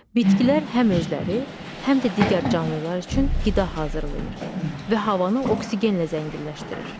Bitkilər həm özləri, həm də digər canlılar üçün qida hazırlayır və havanı oksigenlə zənginləşdirir.